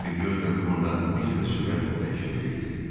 Votren bir göz qırpımında necə də sürətlə dəyişə bilirdi.